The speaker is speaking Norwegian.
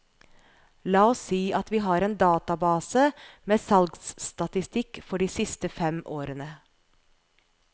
La oss si at vi har en database med salgsstatistikk for de siste fem årene.